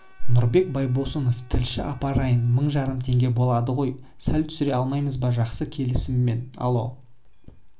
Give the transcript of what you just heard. нұрбек байбосын тілші апарайын мың жарым теңге болады ғой сәл түсіре алмаймыз ба жақсы келісемін алло